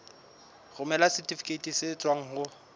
romela setifikeiti se tswang ho